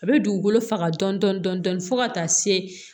A bɛ dugukolo faga dɔɔni dɔɔni fo ka taa se